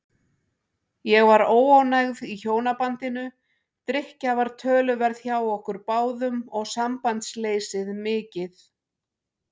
Ég var óánægð í hjónabandinu, drykkja var töluverð hjá okkur báðum og sambandsleysið mikið.